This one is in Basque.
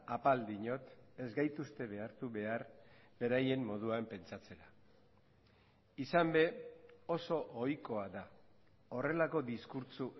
apal diot ez gaituzte behartu behar beraien moduan pentsatzera izan ere oso ohikoa da horrelako diskurtso